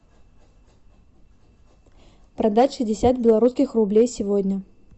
продать шестьдесят белорусских рублей сегодня